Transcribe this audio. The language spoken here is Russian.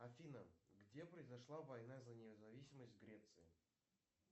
афина где произошла война за независимость греции